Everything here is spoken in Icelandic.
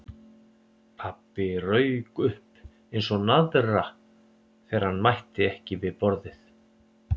Pabbi rauk upp eins og naðra þegar hann mætti ekki við borðið.